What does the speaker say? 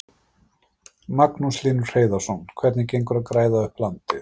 Magnús Hlynur Hreiðarsson: Hvernig gengur að græða upp landið?